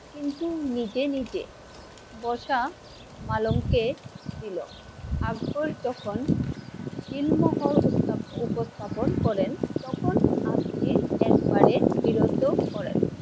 কিন্তু নিজে নিজে বসা মালংকে দিলো। আকবর যখন সিলমোহর উপস্থাপন করেন তখন আব্জি একবারে বিরত করেন।